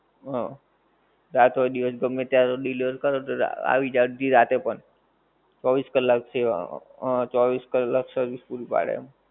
હ રાત હોએ કે દિવસ ગમ્મે તારે deliver કરો તો આવી જાએ અળધી રાતે પણ ચૌવીશ કલાક છે હ ચૌવીશ કલાક service પુરી પાડે આમ